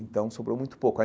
Então, sobrou muito pouco.